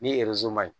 Ni maɲi